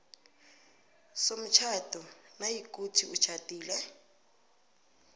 somtjhado nayikuthi utjhadile